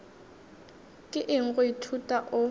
ke eng go ithuta o